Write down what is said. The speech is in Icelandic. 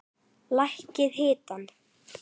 Lækkið hitann.